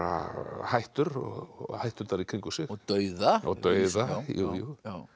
hættur og hætturnar í kringum sig og dauða og dauða jú jú